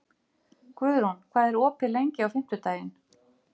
Guðrún, hvað er opið lengi á fimmtudaginn?